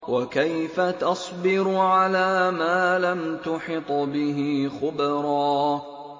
وَكَيْفَ تَصْبِرُ عَلَىٰ مَا لَمْ تُحِطْ بِهِ خُبْرًا